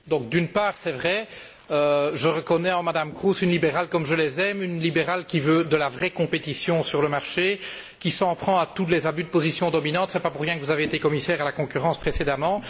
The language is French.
D'une part, c'est vrai, je reconnais en Mme Kroes une libérale comme je les aime, une libérale qui veut une vraie concurrence sur le marché et qui s'en prend à tous les abus de position dominante. Ce n'est pas pour rien que vous avez été commissaire à la concurrence précédemment.